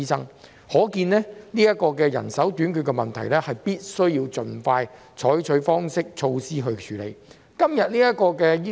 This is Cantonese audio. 由此可見，就人手短缺問題，當局必須盡快採取措施處理。